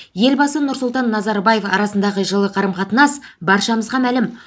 елбасы нұрсұлтан назарбаев арасындағы жылы қарым қатынас баршамызға мәлім